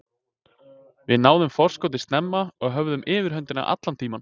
Við náðum forskotinu snemma og höfðum yfirhöndina allan tímann.